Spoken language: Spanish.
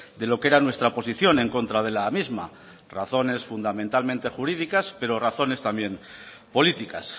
de lo que era nuestra posición en contra de la misma razones fundamentalmente jurídicas pero razones también políticas